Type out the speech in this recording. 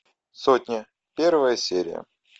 сотня первая серия